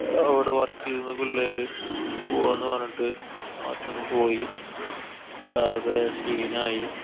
അവടെ work ചെയ്യുന്ന പിള്ളേര് പോവാന്നു പറഞ്ഞിട്ട് നാട്ടീന്നു പോയി. ആകെ scene ആയി.